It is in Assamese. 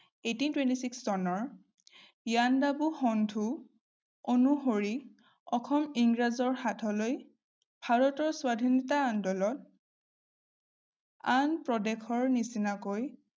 eighteen twenty-six চনৰ ইয়াণ্ডাবু সন্ধি অনুসৰি অসম ইংৰাজৰ হাতলৈ ভাৰতৰ স্বাধীনতা আন্দোলন আন প্ৰদেশৰ নিচিনাকৈ